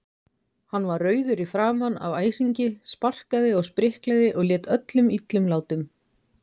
Hann var rauður í framan af æsingi, sparkaði og spriklaði og lét öllum illum látum.